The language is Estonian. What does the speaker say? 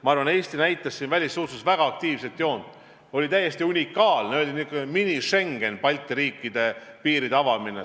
Ma arvan, et Eesti näitas välissuhtluses väga aktiivset joont, see oli täiesti unikaalne, Balti riikide piiride avamine oli selline mini-Schengen.